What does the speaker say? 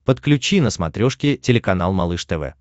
подключи на смотрешке телеканал малыш тв